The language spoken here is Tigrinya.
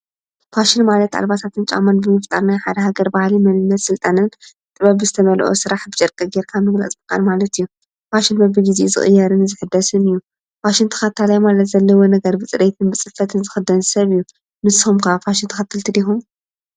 ፋሽን ማለት ኣልባሳትን ጫማን ብምፍጣር ናይ ሓደ ሃገር ባህሊ መንነት ሥልጣነን ጥበብ ዝተመልኦ ስራሕ ብጨርቂ ጌርካ ምምራፅ ማለት እዩ። ፋሽን በቢ ጊዜ ዝቕየርን ዘሕዳስን እዩ። ፋሽን ተኻታላይ ማለት ዘለዎ ነገር ብጽርየትን ብጽፈትን ዝኽደን ሰብ እዩ። ንስኩም ከ ፋሽን ተከተልቲ ዲኩም?